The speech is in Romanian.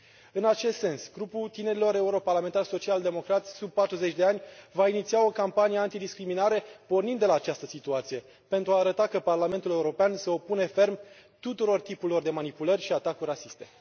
În acest sens, grupul tinerilor eurodeputați social democrați sub 40 de ani va iniția o campanie anti discriminare pornind de la această situație pentru a arăta că Parlamentul European se opune ferm tuturor tipurilor de manipulări și atacuri rasiste.